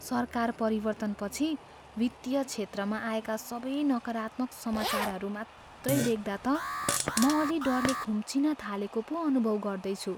सरकार परिवर्तनपछि वित्तीय क्षेत्रमा आएका सबै नकारात्मक समाचारहरू मात्रै देख्दा त म अलि डरले खुम्चिन थालेको पो अनुभव गर्दैछु।